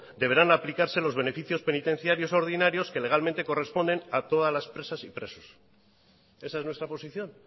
deberán aplicarse los beneficios penitenciarios ordinarios que legalmente corresponden a todas las presas y presos esa es nuestra posición